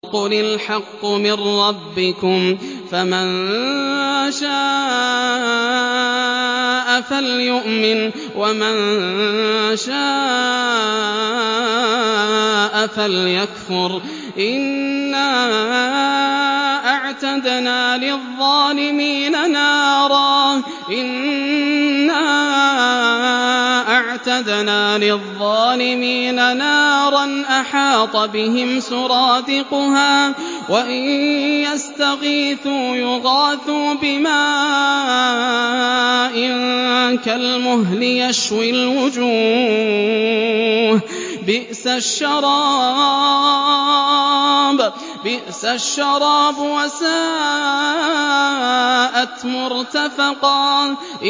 وَقُلِ الْحَقُّ مِن رَّبِّكُمْ ۖ فَمَن شَاءَ فَلْيُؤْمِن وَمَن شَاءَ فَلْيَكْفُرْ ۚ إِنَّا أَعْتَدْنَا لِلظَّالِمِينَ نَارًا أَحَاطَ بِهِمْ سُرَادِقُهَا ۚ وَإِن يَسْتَغِيثُوا يُغَاثُوا بِمَاءٍ كَالْمُهْلِ يَشْوِي الْوُجُوهَ ۚ بِئْسَ الشَّرَابُ وَسَاءَتْ مُرْتَفَقًا